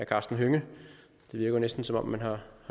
karsten hønge det virker næsten som om man har